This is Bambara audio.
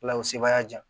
Ala y'o sebaya jan